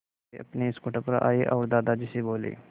वे अपने स्कूटर पर आए और दादाजी से बोले